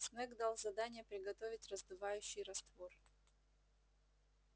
снегг дал задание приготовить раздувающий раствор